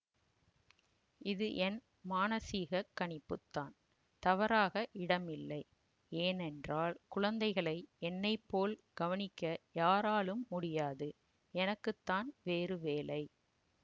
இது என் மானசிகக் கணிப்புத்தான் தவறாக இடமில்லை ஏனென்றால் குழந்தைகளை என்னைப்போல் கவனிக்க யாராலும் முடியாதுஎனக்குத்தான் வேறு வேலை